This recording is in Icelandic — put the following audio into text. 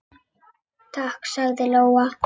Takk, sagði Lóa.